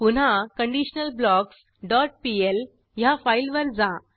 पुन्हा conditionalblocksपीएल ह्या फाईलवर जा